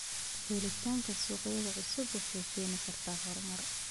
Helitaanka suuqyo cusub waxay keeni kartaa horumar.